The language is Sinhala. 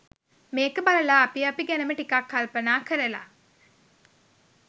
මේක බලලා අපි අපි ගැනම ටිකක් කල්පනා කරල